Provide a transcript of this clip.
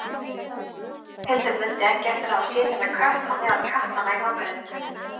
Ragnhildur mundi ekki eftir að hafa séð þennan kött á meðal kattanna í nágrenninu.